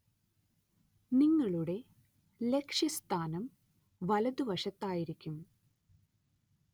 നിങ്ങളുടെ ലക്ഷ്യസ്ഥാനം വലതുവശത്തായിരിക്കും.